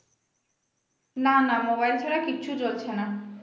না না mobile ছাড়া কিচ্ছু চলছে না